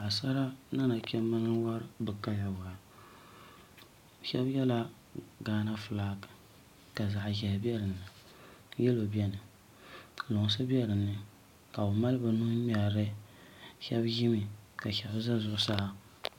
Paɣasara ni nachimbi n wori bi kali waa shab yɛla gaana fulak ka zaɣ ʒiɛhi bɛ dinni yɛlo biɛni ka lunsi bɛ dinni ka bi mali bi nuhi ŋmɛrili shab ʒimi ka shab ʒɛ zuɣusaa